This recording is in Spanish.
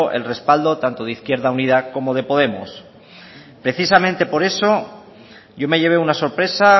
el respaldo tanto de izquierda unida como de podemos precisamente por eso yo me llevé una sorpresa